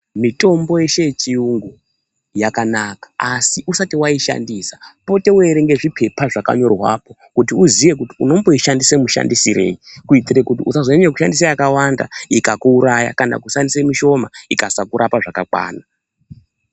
Mitombo yeshe yechiyungu yakanaka asi usati waishandiswa pote weiierenge zvipepa zvakanyorwapo kuti uziye kuti unomboishandisa mushandisireyi kuitire kuti usazonyamya kushandisa yakawanda ikakuuraya kana kushandise mishoma ikasakuraoa zvakakwana.